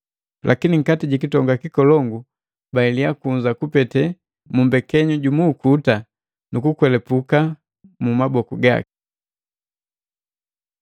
Lakini, nkati ji kitonga kikolongu banheliya kunza kupete mu mbekenyu jumu ukuta, nukukwelapuka mu maboku gaki.